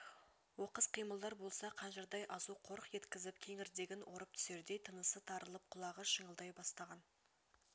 оқыс қимылдар болса қанжардай азу қорқ еткізіп кеңірдегін орып түсердей тынысы тарылып құлағы шыңылдай бастаған